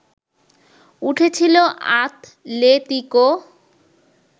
উঠেছিল আতলেতিকো